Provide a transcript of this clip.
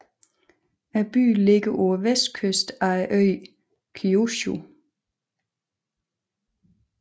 Byen ligger på vestkysten af øen Kyushu